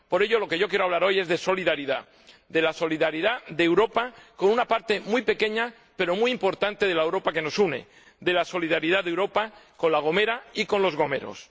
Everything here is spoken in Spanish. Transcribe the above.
Por ello, de lo que yo quiero hablar hoy es de solidaridad, de la solidaridad de Europa con una parte muy pequeña, pero muy importante, de la Europa que nos une, de la solidaridad de Europa con La Gomera y con los gomeros.